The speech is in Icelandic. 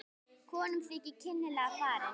Konum þykir kynlega að farið.